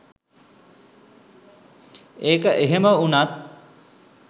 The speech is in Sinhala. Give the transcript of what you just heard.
ඒක එහෙම උනත්